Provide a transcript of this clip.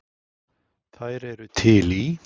Þær eru til í